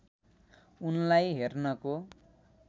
उनलाई हेर्नको